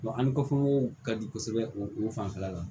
ni kɔfɛw ka di kosɛbɛ o fanfɛla la